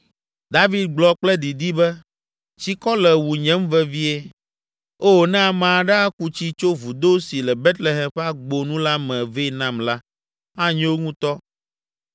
David gblɔ kple didi be, “Tsikɔ le wunyem vevie. Oo, ne ame aɖe aku tsi tso vudo si le Betlehem ƒe agbo nu la me vɛ nam la, anyo ŋutɔ.”